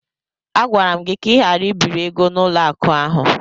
Agwara m gị ka ị ghara ibiri ego n'ụlọ akụ ahụ!